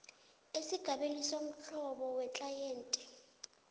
esigabeni somhlobo weklayenti